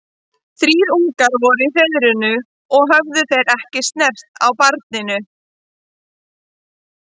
Þrír ungar voru í hreiðrinu og höfðu þeir ekki snert á barninu.